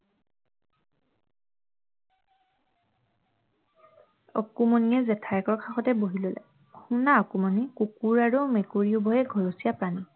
অকণমানিয়ে জেঠায়েকৰ কাষতে বহি ললে শুনা অকণমানি কুকুৰ আৰু মেকুৰীবোৰ ঘৰচীয়া প্ৰাণী